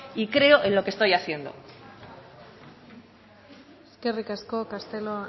y creo en lo que estoy haciendo eskerrik asko castelo